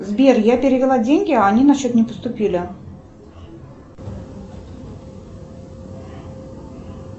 сбер я перевела деньги а они на счет не поступили